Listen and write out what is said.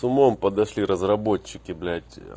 с умом подошли разработчики блять